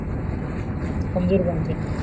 कमजोर बनते.